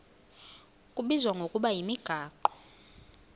kubizwa ngokuba yimigaqo